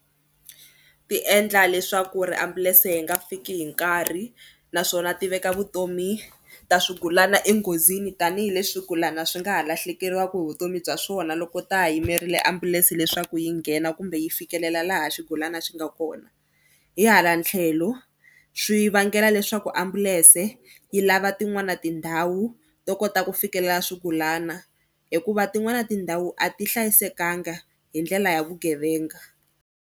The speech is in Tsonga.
Ti endla leswaku ri ambulense yi nga fiki hi nkarhi naswona ti veka vutomi ta swigulana enghozini tanihileswi swigulana swi nga ha lahlekeriwaka hi vutomi bya swona loko ta ha yimerile ambulense leswaku yi nghena kumbe yi fikelela laha xigulana xi nga kona. Hi hala tlhelo swi vangela leswaku ambulense yi lava tin'wana tindhawu to kota ku fikelela swigulana hikuva tin'wana tindhawu a ti hlayisekanga hi ndlela ya vugevenga.